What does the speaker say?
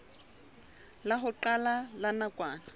la ho qala la nakwana